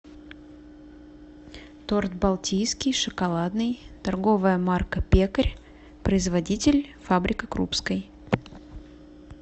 торт балтийский шоколадный торговая марка пекарь производитель фабрика крупской